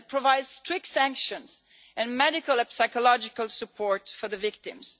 It provides strict sanctions and medical and psychological support for victims.